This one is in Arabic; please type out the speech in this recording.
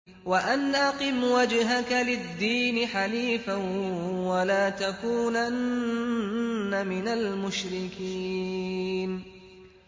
وَأَنْ أَقِمْ وَجْهَكَ لِلدِّينِ حَنِيفًا وَلَا تَكُونَنَّ مِنَ الْمُشْرِكِينَ